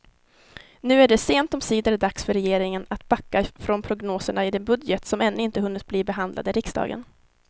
Nu är det sent omsider dags för regeringen att backa från prognoserna i den budget som ännu inte hunnit bli behandlad i riksdagen.